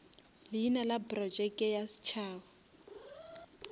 leina la projeke ya setšhaba